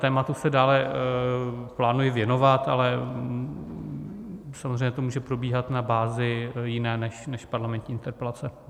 Tématu se dále plánuji věnovat, ale samozřejmě to může probíhat na bázi jiné než parlamentní interpelace.